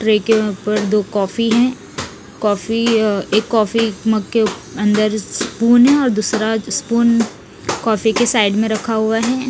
Tray के ऊपर दो काफी है काॅफी एक कॉफी मग में के अंदर स्पून है दूसरा स्पून कॉफी के साइड में रखा हुआ है।